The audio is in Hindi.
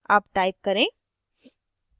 अब type करें